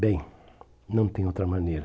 Bem, não tem outra maneira.